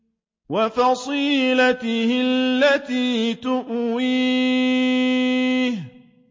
وَفَصِيلَتِهِ الَّتِي تُؤْوِيهِ